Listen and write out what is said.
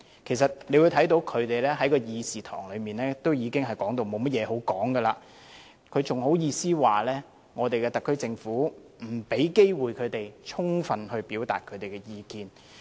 其實大家可以看到，他們在會議廳內差不多已無話可說了，還好意思說特區政府不給他們機會充分表達意見。